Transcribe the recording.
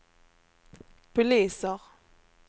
poliser